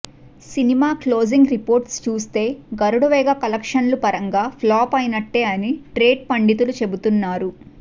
cinema closing reports చూస్తే గరుడవేగ కలెక్షన్ల పరంగా ఫ్లాప్ అయినట్లే అని ట్రేడ్ పండితులు చెబుతున్నారు